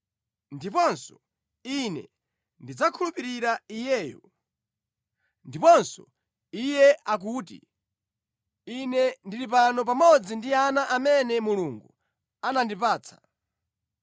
Ndiponso, “Ine ndidzakhulupirira Iyeyo.” Ndiponso Iye akuti, “Ine ndili pano pamodzi ndi ana amene Mulungu wandipatsa.”